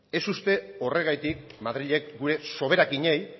ez uste horregatik madrilek gure soberakinei